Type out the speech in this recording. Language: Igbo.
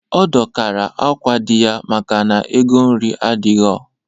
Ọ dọkara akwa di ya maka na ego nri adighọ